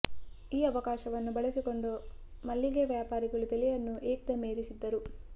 ಈ ಅವಕಾಶವನ್ನು ಬಳಸಿಕೊಂಡು ಮಲ್ಲಿಗೆ ವ್ಯಾಪಾರಿಗಳು ಬೆಲೆಯನ್ನು ಏಕ್ ದಮ್ ಏರಿಸಿದ್ದರು